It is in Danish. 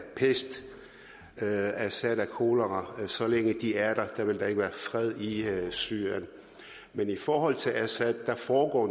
pest og at assad er kolera og så længe de er der vil der ikke være fred i syrien men i forhold til assad foregår